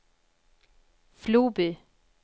Floby